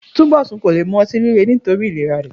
Túnbò̩sùn kò le mu o̩tí líle nítorí ìlera rè̩